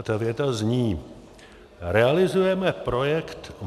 A ta věta zní: "Realizujeme projekt